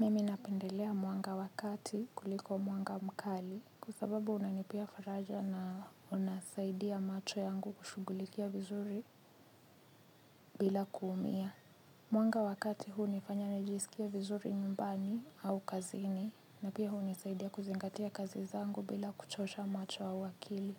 Mimi napendelea mwanga wakati kuliko mwanga mkali kua sababu unanipea faraja na unasaidia macho yangu kushugulikia vizuri bila kuumia. Mwanga wakati huu nifanya najisikie vizuri nyumbani au kazini na pia huu nisaidia kuzingatia kazi zangu bila kuchosha macho au akili.